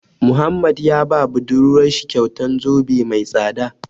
Muhammad ya ba budurwar shi kyautan zobe mai tsada.